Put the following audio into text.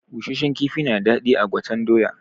Busashen kifi na da daɗi a gwaten doya.